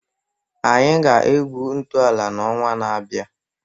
anyị ga-egwu ntọala n'ọnwa na-abịa